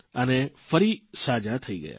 અને ફરી સાજા થઇ ગયા